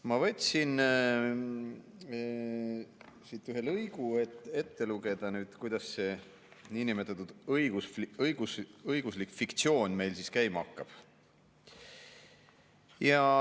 Ma võtsin siit ette ühe lõigu, loen selle ette, kuidas see niinimetatud õiguslik fiktsioon meil käima hakkab.